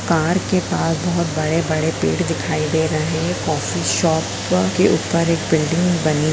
car के पास बहुत बड़े-बड़े पेड़ दिखाई दे रहे हैं कॉफी शॉप के ऊपर एक बिल्डिंग --